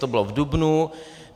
To bylo v dubnu.